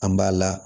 An b'a la